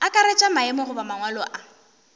akaretša maemo goba mangwalo a